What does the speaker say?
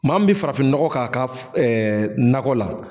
Maa min bɛ farafinnɔgɔ k'a ka nakɔ la